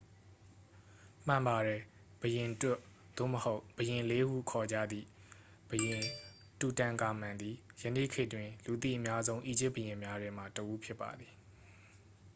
"မှန်ပါတယ်။ "ဘုရင်တွတ်" သို့မဟုတ် "ဘုရင်လေး" ဟု ခေါ်ကြသည့် ဘုရင် တူတန်ခါမန်သည် ယနေ့ခေတ်တွင် လူသိအများဆုံး အီဂျစ်ဘုရင်များထဲမှတစ်ဦး ဖြစ်ပါသည်။